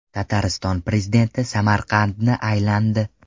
Tatariston prezidenti Samarqandni aylandi.